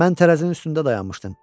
Mən tərəzinin üstündə dayanmışdım.